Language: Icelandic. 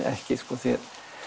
ekki sko því